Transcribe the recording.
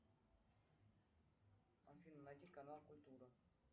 афина найди канал культура